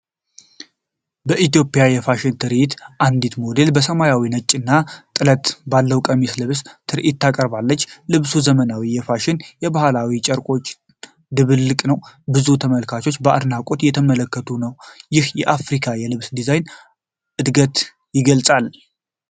በኢትዮጵያ የፋሽን ትርኢት ነው። አንዲት ሞዴል በሰማያዊ፣ ነጭና ጥለት ባለው ቀሚስ ለብሳ ትርኢት ታቀርባለች። ልብሱ የዘመናዊ ፋሽንና የባህላዊ ጨርቆች ድብልቅ ነው። ብዙ ተመልካቾች በአድናቆት እየተመለከቱ ነው። ይህም የአፍሪካን የልብስ ዲዛይን እድገት ይገልጻል።